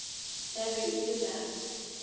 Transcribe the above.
ya be e le la